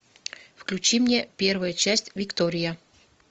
включи мне первая часть виктория